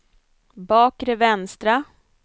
bakre vänstra